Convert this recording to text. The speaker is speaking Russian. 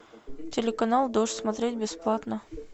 телеканал дождь смотреть бесплатно